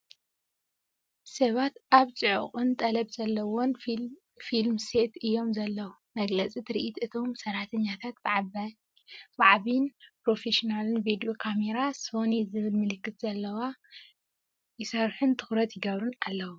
ሰባት ኣብ ጽዑቕን ጠለብ ዘለዎን ፊልም ሴት እዮም ዘለዉ። መግለጺ ትርኢት፡ እቶም ሰራሕተኛታት ብዓባይን ፕሮፌሽናልን ቪድዮ ካሜራ (ሶኒ ዝብል ምልክት ዘለዋ) ይሰርሑን ትኹረት ይገብሩን ኣለዉ።